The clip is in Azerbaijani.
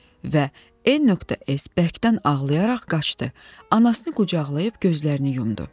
Və N.S bərkdən ağlayaraq qaçdı, anasını qucaqlayıb gözlərini yumdu.